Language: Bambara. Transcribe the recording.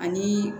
Ani